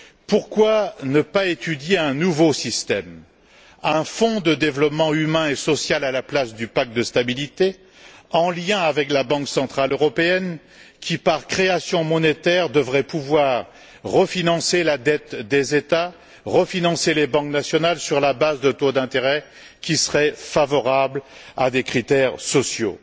Pourquoi ne pas étudier un nouveau système, un fonds de développement humain et social à la place du pacte de stabilité, en lien avec la Banque centrale européenne qui, par la création monétaire, devrait pouvoir refinancer la dette des États, refinancer les banques nationales, sur la base de taux d'intérêt qui seraient favorables à des critères sociaux?